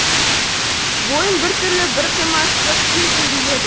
бойын біртүрлі бір қимастық сезім биледі